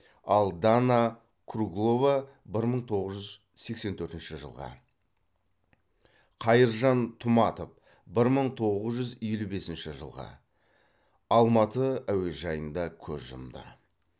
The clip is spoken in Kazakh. ал дана круглова бір мың тоғыз жүз сексен төртінші жылғы қайыржан тұматов бір мың тоғыз жүз елу бесінші жылғы алматы әуежайында көз жұмды